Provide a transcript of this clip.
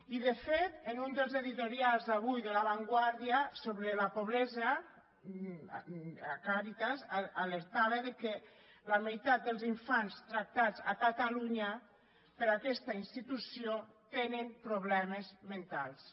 i de fet en un dels editorials avui de la vanguardiala pobresa càritas alertava que la meitat dels infants tractats a catalunya per aquesta institució tenen problemes mentals